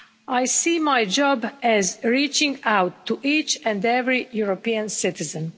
I see my job as reaching out to each and every European citizen.